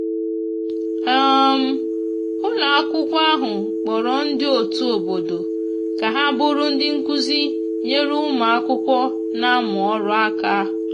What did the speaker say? um ụlọ akwụkwo ahụ kporo ndi otu obodo ka ha bụrụ ndi nkụzi nyere ụmụ akwụkwo n'amu ọrụ aka